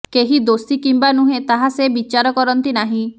କେହି ଦୋଷୀ କିମ୍ବା ନୁହେଁ ତାହା ସେ ବିଚାର କରନ୍ତି ନାହିଁ